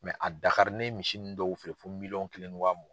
Dakari ne ye misi ninnu dɔw feere fo miliyɔn kelen ni wa mugan.